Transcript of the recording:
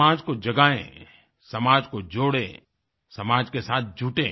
समाज को जगायें समाज को जोड़ें समाज के साथ जुटें